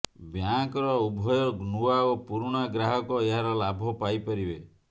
ବ୍ୟାଙ୍କର ଉଭୟ ନୂଆ ଏବଂ ପୁରୁଣା ଗ୍ରାହକ ଏହାର ଲାଭ ପାଇପାରିବେ